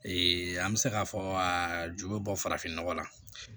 an bɛ se k'a fɔ aa ju bɛ bɔ farafin nɔgɔ la